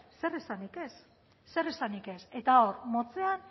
zer esanik ez zer esanik ez eta hor motzera